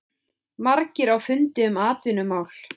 Margir á fundi um atvinnumál